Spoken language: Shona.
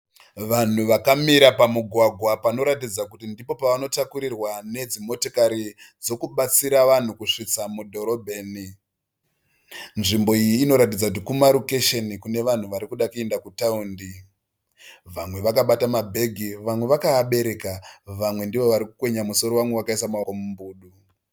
Vanhu vakamira pamugwagwa panoratidza kuti ndipo pavanotakurirwa nedzimotikari dzekubatsira vanhu kusvitsa mudhorobheni. Nzvimbo iyi inoratidza kumarokisheni kune vanhu vari kuda kuenda kutaundi. Vamwe vakabata mabhegi, vamwe vakaabereka, vamwe ndoo vari kwenya musoro vamwe vakaisa maoko mumbudu.